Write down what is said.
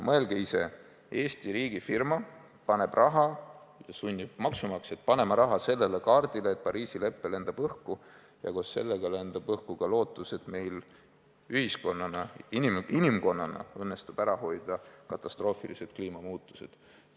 Mõelge ise, Eesti riigifirma paneb raha ja sunnib maksumaksjat panema raha sellele kaardile, et Pariisi lepe lendab õhku ja koos sellega lendab õhku ka lootus, et meil ühiskonnana, inimkonnana õnnestub ära hoida katastroofilised kliimamuutused.